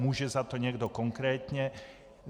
Může za to někdo konkrétně?